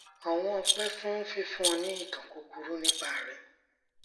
ọwọn ọpẹ fún fífún ọ ní ìtàn kúkúrú nípa rẹ